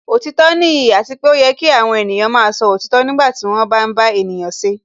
Òtítọ́ nìyí àti pé ó yẹ kí àwọn ènìyàn máa sọ òtítọ́ nígbà tí wọ́n bá ń bá ènìyàn ṣe